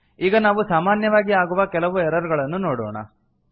ಈಗ ನಾವು ಸಾಮಾನ್ಯವಾಗಿ ಆಗುವ ಕೆಲವು ಎರರ್ ಗಳನ್ನು ನೋಡೋಣ